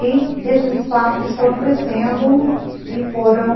E esses espaços foram crescendo e foram...